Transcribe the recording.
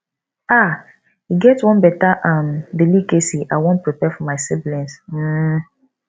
um e get one beta um delicacy i wan prepare for my siblings um